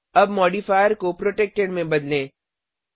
अब मॉडिफायर को प्रोटेक्टेड में बदलें